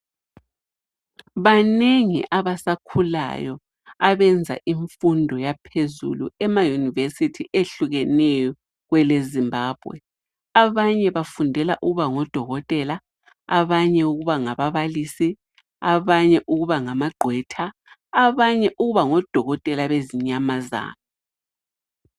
Banengi abasakhulayo abenza infundo yaphezulu emayunivesithi ehlukeneyo kwelezimbabwe .Abanye bafundela ukuba ngodokotela abanye ukuba ngababalisi abanye ukubangamagqwetha ,abanye ukuba ngodokotela bezinyamazana.